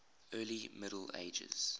early middle ages